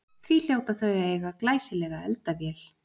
Því hljóta þau að eiga glæsilega eldavél.